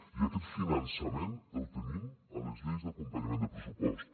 i aquest finançament el tenim a les lleis d’acompanyament del pressupost